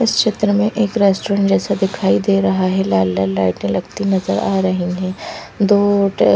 इस चित्र में एक रेस्ट्रोरेन्ट जैसा दिखाई दे रहा है लाल लाल लाइटे लगती नजर आ रही है दो ट--